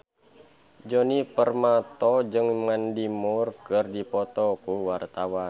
Djoni Permato jeung Mandy Moore keur dipoto ku wartawan